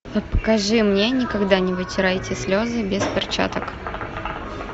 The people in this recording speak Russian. покажи мне никогда не вытирайте слезы без перчаток